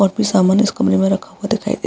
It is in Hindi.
और भी सामान इस कमरे में रखा हुआ दिखाई दे --